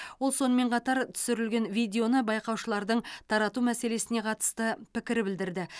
ол сонымен қатар түсірілген видеоны байқаушылардың тарату мәселесіне қатысты пікір білдірді